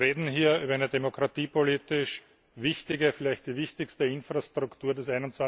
Wir reden hier über eine demokratiepolitisch wichtige vielleicht die wichtigste Infrastruktur des